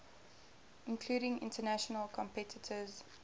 including international competitors